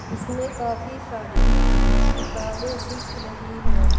इसमें काफी सारी किताबें दिख रही है।